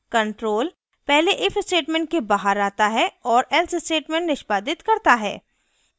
control पहले if statement के बाहर आता है और else statement निष्पादित करता है